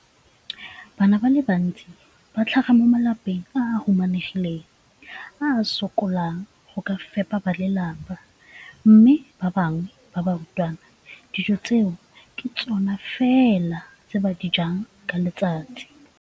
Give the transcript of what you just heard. Bana ba le bantsi ba tlhaga mo malapeng a a humanegileng a a sokolang go ka fepa ba lelapa mme ba bangwe ba barutwana, dijo tseo ke tsona fela tse ba di jang ka letsatsi.